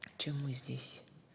чем мы здесь